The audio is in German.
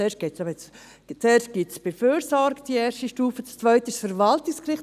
Zuerst gibt es bei der Fürsorge die erste Stufe, die zweite ist das Verwaltungsgericht.